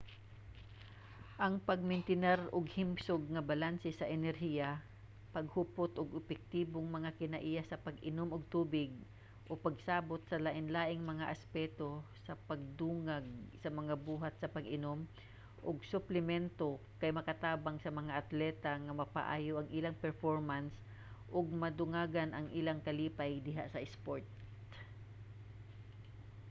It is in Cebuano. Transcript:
ang pagmentinar og himsog nga balanse sa enerhiya paghupot og epektibong mga kinaiya sa pag-inom og tubig ug pagsabot sa lainlaing mga aspeto sa pagdugang sa mga buhat sa pag-inom og suplemento kay makatabang sa mga atleta nga mapaayo ang ilang performance ug madugangan ang ilang kalipay diha sa isport